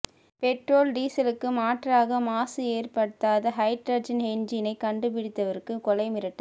petrol டீசலுக்கு மாற்றாக மாசு ஏற்படுத்தாத ஹைட்ரஜன் என்ஜீனை கண்டுபிடித்தவருக்கு கொலை மிரட்டல்